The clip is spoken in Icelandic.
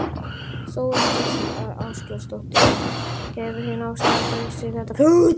Þóra Kristín Ásgeirsdóttir: Hefur þín afstaða breyst eftir þennan fund?